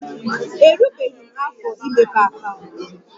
Erubeghi m afọ imepe akaụntụ